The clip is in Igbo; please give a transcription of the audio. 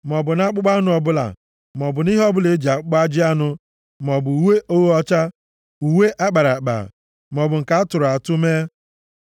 maọbụ nʼakpụkpọ anụ ọbụla, maọbụ nʼihe ọbụla e ji akpụkpọ ajị anụ maọbụ uwe ogho ọcha, uwe a kpara akpa, maọbụ nke a tụrụ atụ mee.